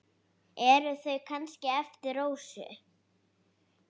Eru þau kannski eftir Rósu?